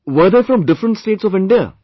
Were they from different States of India